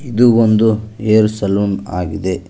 ಇದು ಒಂದು hair salon ಆಗಿದೆ.